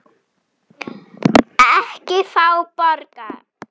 Ég veit það manna best.